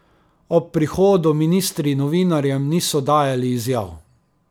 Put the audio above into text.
Ob prihodu ministri novinarjem niso dajali izjav.